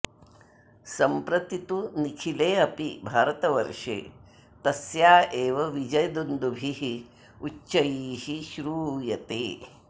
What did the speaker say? सम्प्रति तु निखिलेऽपि भारतवर्षे तस्या एव विजयदुन्दुभिरुच्चैः श्रूयते